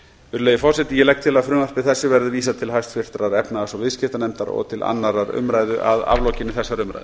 virðulegi forseti ég legg til að frumvarpi þessu verði vísað til háttvirtrar efnahags og viðskiptanefndar og til annarrar umræðu að aflokinni þessari umræðu